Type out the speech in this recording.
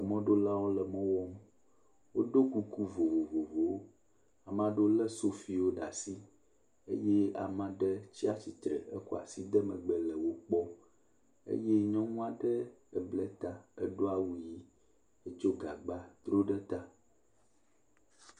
Mɔɖolawo mɔ wɔm. Wodo kuku vovovovowo. Ama ɖewo lé sofiwo ɖaa si eye amaa ɖe tsa tsitre hekɔ asi de megbe le wo kpɔm, eye nyɔnu aɖe eble ta edo awu yii etsɔ gabgba dro ɖe ta.